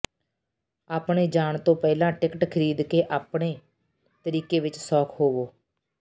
ਆਪਣੇ ਜਾਣ ਤੋਂ ਪਹਿਲਾਂ ਟਿਕਟ ਖਰੀਦ ਕੇ ਆਪਣੇ ਤਰੀਕੇ ਵਿੱਚ ਸੌਖ ਹੋਵੋ